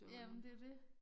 Jamen det jo det